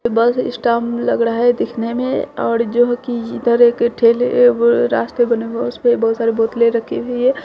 बस स्टॉप लग रहा है देखने में और जो कि इधर एक ठेले ब रास्ते बनेगा उसपर बहुत सारे बोतलें रखे हुई है।